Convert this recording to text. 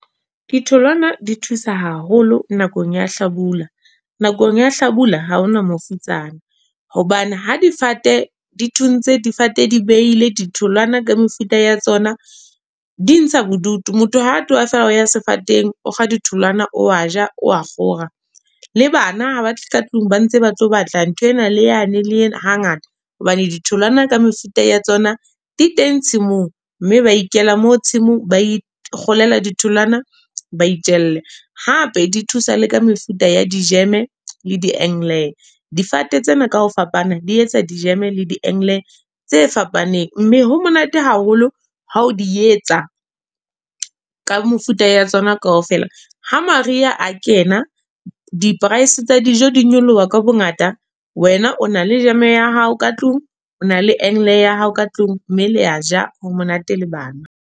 Ditholwana di thusa haholo, nakong ya hlabula. Nakong ya hlabula, ha hona mofutsana. Hobane, ha difate di thuntse. Difate di beile ditholwana ka mefuta ya tsona, di ntsha bodutu. Motho ha tloha feela oya sefateng okga ditholwana, o a ja wa kgora. Le bana habatle ka tlung ba ntse batlo batla nthwane le yane le yena ha ngata. Hobane ditholwana ka mefuta ya tsona di teng tshimong. Mme ba ikela moo tshimong ba ikgolela ditholwana ba itjelle. Hape, di thusa le ka mefuta ya di-jam le . Difate tsena kaho fapana di etsa di-jam le di tse fapaneng. Mme ho monate haholo hao di etsa, ka mefuta ya tsona ka ofela. Ha mariha a kena, di-price tsa dijo di nyoloha ka bo ngata. We na o na le jam ya hao ka tlung, o na le ya hao ka tlung, mme le a ja ho monate le bana.